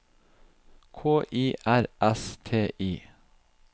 K I R S T I